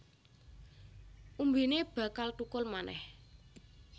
Umbine bakal thukul manèh